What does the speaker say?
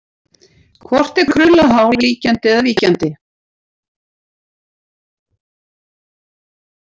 Hvort er krullað hár ríkjandi eða víkjandi?